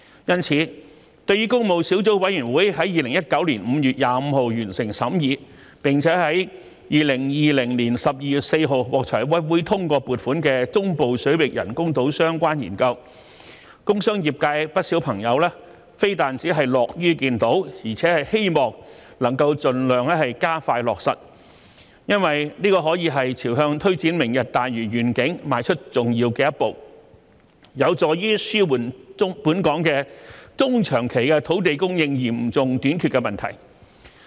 因此，對於工務小組委員會在2019年5月25日完成審議，並且在2020年12月4日獲財委會通過撥款的"中部水域人工島相關研究"，工商專業界不少朋友非但樂於見到，而且希望能夠盡量加快落實，因為這可說是朝向推展"明日大嶼願景"邁出重要的一步，有助紓緩本港中、長期土地供應嚴重短缺的問題。